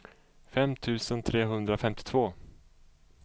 fem tusen trehundrafemtiotvå